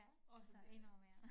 Og så 1 år mere